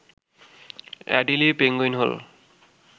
Adelie penguin হল